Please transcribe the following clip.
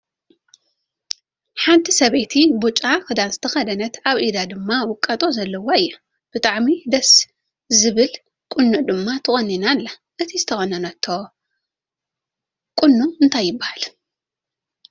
ሓንቲ ሰበይቲ ቢጫ ክዳን ዝተከደነት ኣብ ኢዳ ድማ ውቃጦ ዘለዋ እያ። ብጣዕሚ ደስ ዝብል ቆኖ ድማ ተኮኒና ኣላ። እቲ ተቆኒናቶ ዘላ ቁኖ እንታይ ትባሃል?